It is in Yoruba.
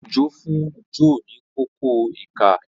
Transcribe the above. Ojo fún Joe ní Kókó ìka.